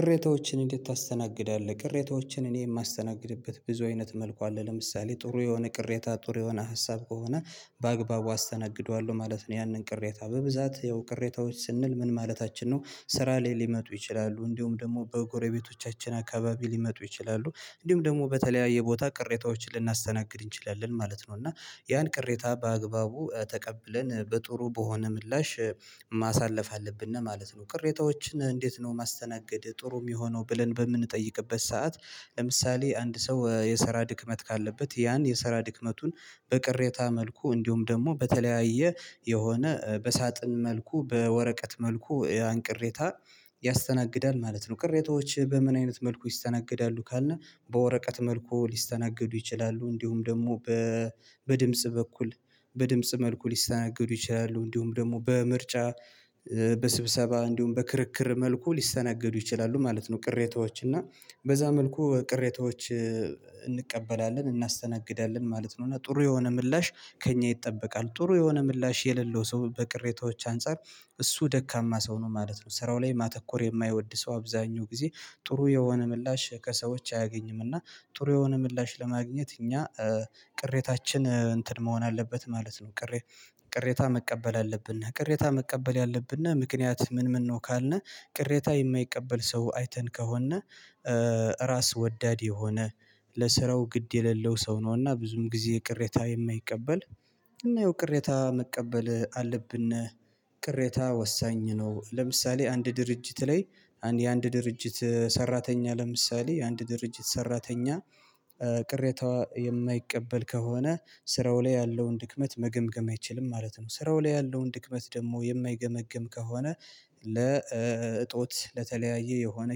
ቅሬታዎችን እንዴት ታስተናግዳለህ? ቅሬታዎችን እኔ የማስተናግድበት ብዙ አይነት መልኩ አለ ለምሳሌ ጥሩ የሆነ ቅሬታ ጥሩ የሆነ ሀሳብ ከሆነ በአግባቡ አስተናግደዋለሁ ማለት ነው። ያንን ቅሬታ በብዛት ያው ቅሬታዎች ስንል ምን ማለታችን ነው? ስራ ላይ ሊመጡ ይችላሉ እንዲሁም ደግሞ በጎረቤቶቻችን አካባቢ ሊመጡ ይችላሉ እንዲሁም ደግሞ በተለያየ ቦታ ቅሬታዎችን ልናስተናግድ እንችላለን ማለት ነው። እና ያን ቅሬታ በአግባቡ ተቀብለን በጥሩ በሆነ ምላሽ ማሳለፍ አለብን ማለት ነው። ቅሬታዎችን እንዴት ነው ማስተናገድ ጥሩ የሚሆነው ብለን በምንጠይቅበት ሰዓት? ለምሳሌ አንድ ሰው የሰራ ድክመት ካለበት ያን የሰራ ድክመቱን በቅሬታ መልኩ እንዲሁም ደግሞ በተለያየ የሆነ በሳጥን መልኩ በወረቀት መልኩ ያን ቅሬታ ያስተናግዳል ማለት ነው። ቅሬታዎች በምን አይነት መልኩ ይስተናግዳሉ ካለ? በወረቀት መልኩ ሊስተናገዱ ይችላሉ እንዲሁም ደግሞ በድምጽ በኩል በድምጽ መልኩ ሊስተናገዱ ይችላሉ እንዲሁም ደግሞ በምርጫ በስብሰባ እንዲሁም በክርክር መልኩ ሊስተናገዱ ይችላሉ ማለት ነው። ቅሬታዎች እና በዛ መልኩ ቅሬታዎች እንቀበላለን እናስተናግዳለን ማለት ነው። እና ጥሩ የሆነ ምላሽ ከእኛ ይጠበቃል ጥሩ የሆነ ምላሽ የሌለው ሰው በቅሬታዎች አንፃር እሱ ደካማ ሰው ነው ማለት ነው። ስራው ላይ ማተኮር የማይወድ ሰው አብዛኛው ጊዜ ጥሩ የሆነ ምላሽ ከሰዎች አያገኝም እና ጥሩ የሆነ ምላሽ ለማግኘት እኛ ቅሬታችን እንትን መሆን አለበት ማለት ነው። ቅሬ ቅሬታ መቀበል አለብን ቅሬታ መቀበል ያለብን ምክንያት ምን ምን ነው? ካልነ ቅሬታ የማይቀበል ሰው አይተን ከሆነ ራስ ወዳድ የሆነ ለስራው ግድ የሌለው ሰው ነውና ብዙም ጊዜ ቅሬታ የማይቀበል እና ይኸው ቅሬታ መቀበል አለብን። ቅሬታ ወሳኝ ነው። ለምሳሌ አንድ ድርጅት ላይ የአንድ ድርጅት ሰራተኛ ለምሳሌ የአንድ ድርጅት ሰራተኛ ቅሬታ የማይቀበል ከሆነ ስራው ላይ ያለውን ድክመት መገምገም አይችልም ማለት ነው። ስራው ላይ ያለውን ድክመት ደግሞ የማይገመግም ከሆነ ለእጦት ለተለያየ የሆነ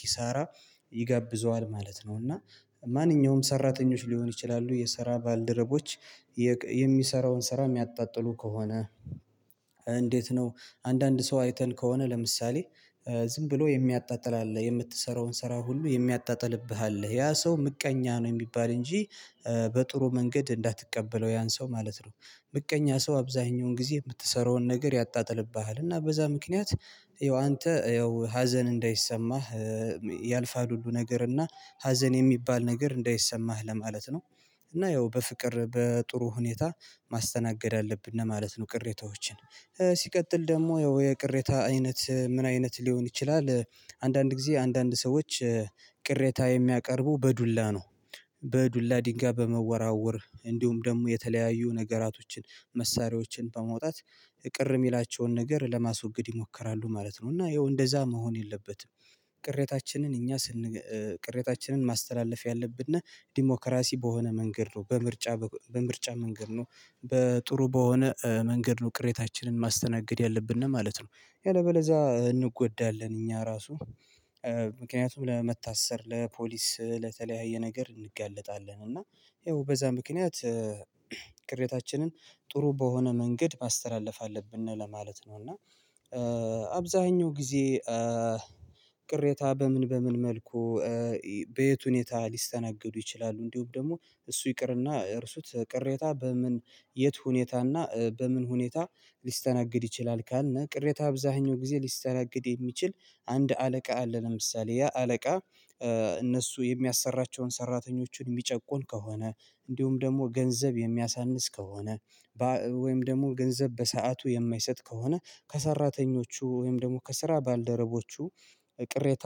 ኪሳራ ይጋብዘዋል ማለት ነው። እና ማንኛውም ሰራተኞች ሊሆን ይችላሉ የሰራ ባልደረቦች የሚሰራውን ስራ የሚያጣጥሉ ከሆነ እንዴት ነው? አንዳንድ ሰው አይተን ከሆነ ለምሳሌ ዝም ብሎ የሚያጣጥል አለ የምትሰራውን ስራ ሁሉ የሚያጣጥልብህ አለ ያ ሰው ምቀኛ ነው የሚባል እንጂ በጥሩ መንገድ እንዳትቀበለው ያን ሰው ማለት ነው። ምቀኛ ሰው አብዛኛውን ጊዜ የምትሰራውን ነገር ያጣጥልብሃል እና በዛ ምክንያት ይሄው አንተ ያው ሀዘን እንዳይሰማህ ያልፋል ሁሉ ነገር እና ሀዘን የሚባል ነገር እንዳይሰማህ ለማለት ነው። እና ያው በፍቅር በጥሩ ሁኔታ ማስተናገድ አለብን ማለት ነው። ቅሬታዎችን ሲቀጥል ደግሞ ያው የቅሬታ አይነት ምን አይነት ሊሆን ይችላል? አንዳንድ ጊዜ አንዳንድ ሰዎች ቅሬታ የሚያቀርቡ በዱላ ነው በዱላ ድንጋይ በመወራወር እንዲሁም ደግሞ የተለያዩ ነገራቶችን መሳሪያዎችን በመውጣት ቅር የሚላቸውን ነገር ለማስወገድ ይሞክራሉ ማለት ነው። እና ይኸው እንደዛ መሆን የለበትም። ቅሬታችንን እኛ ስንገል ቅሬታችንን ማስተላለፍ ያለብንና ዲሞክራሲ በሆነ መንገድ ነው በምርጫ በምርጫ መንገድ ነው በጥሩ በሆነ መንገድ ነው ቅሬታችንን ማስተናገድ ያለብን ማለት ነው። ያለበለዛ እንጎዳለን እኛ ራሱ ምክንያቱም ለመታሰር ለፖሊስ ለተለያየ ነገር እንጋለጣለን እና ይኸው በዛ ምክንያት ቅሬታችንን ጥሩ በሆነ መንገድ ማስተላለፍ አለብን ለማለት ነው። እና አብዛኛው ጊዜ ቅሬታ በምን በምን መልኩ በየት ሁኔታ ሊስተናገዱ ይችላሉ? እንዲሁም ደግሞ እሱ ይቅርና እርሱት ቅሬታ በምን የት ሁኔታና በምን ሁኔታ ሊስተናገድ ይችላል? ካልነ ቅሬታ አብዛኛው ጊዜ ሊስተናገድ የሚችል አንድ አለቃ አለ ለምሳሌ ያ አለቃ እነሱ የሚያሰራቸውን ሰራተኞችን የሚጨቁን ከሆነ እንዲሁም ደግሞ ገንዘብ የሚያሳንስ ከሆነ ወይም ደግሞ ገንዘብ በሰአቱ የማይሰጥ ከሆነ ከሰራተኞቹ ወይም ደግሞ ከስራ ባልደረቦቹ ቅሬታ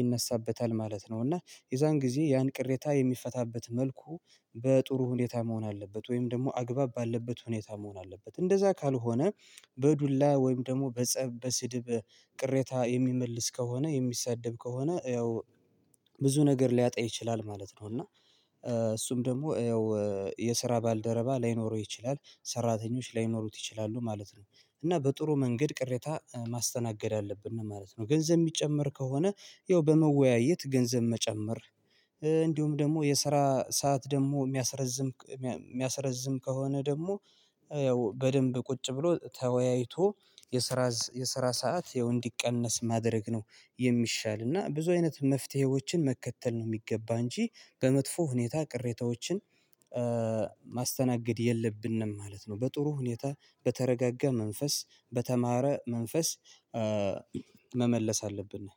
ይነሳበታል ማለት ነው። እና የዛን ጊዜ ያን ቅሬታ የሚፈታበት መልኩ በጥሩ ሁኔታ መሆን አለበት። ወይም ደግሞ አግባብ ባለበት ሁኔታ መሆን አለበት። እንደዛ ካልሆነ በዱላ ወይም ደግሞ በጸብ በስድብ ቅሬታ የሚመልስ ከሆነ የሚሳደብ ከሆነ ያው ብዙ ነገር ሊያጣ ይችላል ማለት ነው። እና እሱም ደግሞ ያው የስራ ባልደረባ ላይኖረው ይችላል ሰራተኞች ላይኖሩት ይችላሉ ማለት ነው። እና በጥሩ መንገድ ቅሬታ ማስተናገድ አለብን ማለት ነው። ገንዘብ የሚጨመር ከሆነ ያው በመወያየት ገንዘብ መጨመር እንዲሁም ደግሞ የስራ ሰዓት ደግሞ የሚያስረዝም የሚያስረዝም ከሆነ ደግሞ ያው በደንብ ቁጭ ብሎ ተወያይቶ የስራ የስራ ሰዓት ያው እንዲቀነስ ማድረግ ነው የሚሻል እና ብዙ አይነት መፍትሄዎችን መከተል ነው የሚገባ እንጂ በመጥፎ ሁኔታ ቅሬታዎችን ማስተናገድ የለብንም ማለት ነው። በጥሩ ሁኔታ በተረጋጋ መንፈስ በተማረ መንፈስ መመለስ አለብን ነው።